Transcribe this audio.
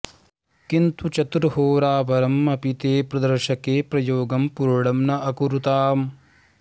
किन्तु चतुर्होरापरम् अपि ते प्रदर्शके प्रयोगं पूर्णं न अकुरुताम्